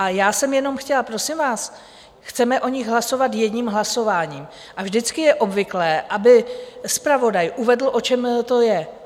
A já jsem jenom chtěla - prosím vás, chceme o nich hlasovat jedním hlasováním, a vždycky je obvyklé, aby zpravodaj uvedl, o čem to je.